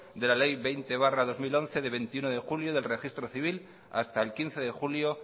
de la ley veinte barra dos mil once de veintiuno de julio del registro civil hasta el quince de julio